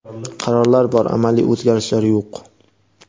Qarorlar bor, amaliy o‘zgarishlar yo‘q.